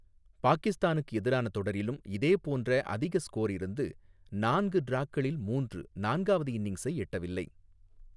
பாகிஸ்தானுக்கு எதிரான தொடரிலும் இதே போன்ற அதிக ஸ்கோர் இருந்து, நான்கு டிராக்களில் மூன்று நான்காவது இன்னிங்ஸை எட்டவில்லை.